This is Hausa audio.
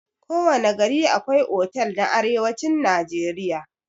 Kowana gari akwai otal a arewacin najeriya.